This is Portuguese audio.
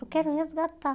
Eu quero resgatar.